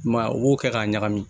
I m'a ye u b'o kɛ k'a ɲagami